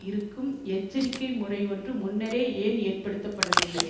இங்கும் எச்சரிக்கை முறை ஒன்று முன்னரே ஏன் ஏற்படுத்தப்படவில்லை